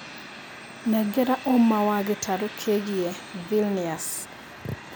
nengera ũma wa gĩtarũ kĩigie Vilnius